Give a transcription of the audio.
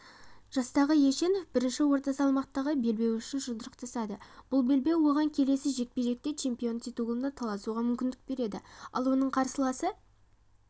жастағы ешенов бірінші орта салмақтағы белбеуі үшін жұдырықтасады бұл беубеу оған келесі жекпе-жекте чемпионы титулына таласуға мүмкіндік береді ал оның қарсыласы